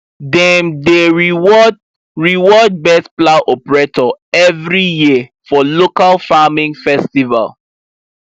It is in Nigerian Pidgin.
dem dey reward reward best plow operator every year for local farming festival